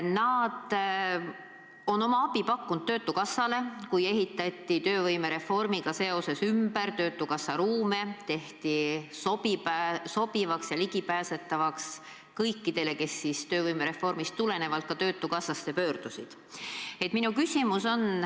Nad on oma abi pakkunud töötukassale, kui tööhõivereformiga seoses ehitati töötukassa ruume ümber, tehti need sobivaks ja ligipääsetavaks kõikidele, kes töövõimereformist tulenevalt ka töötukassasse pöördusid.